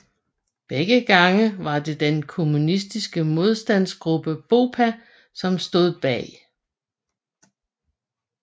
Begge gange var det den kommunistiske modstandsgruppe BOPA som stod bag